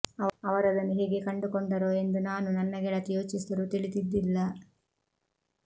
ಅವರದನು ಹೇಗೆ ಕಂಡುಕೊಂಡರೋ ಎಂದು ನಾನು ನನ್ನ ಗೆಳತಿ ಯೋಚಿಸಿದರೂ ತಿಳಿದಿದ್ದಿಲ್ಲ